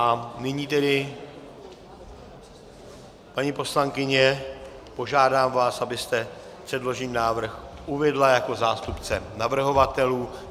A nyní tedy, paní poslankyně, požádám vás, abyste předložený návrh uvedla jako zástupce navrhovatelů.